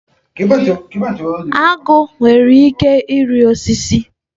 Agụ nwere ike ịrị osisi.